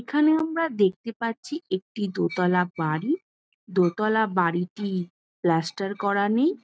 এখানে আমরা দেখতে পাচ্ছি একটি দোতালা বাড়ি। দোতালা বাড়িটি প্লাস্টার করা নেই ।